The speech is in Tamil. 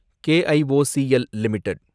KIOCL limited